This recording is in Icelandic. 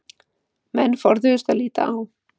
Menn forðuðust að líta á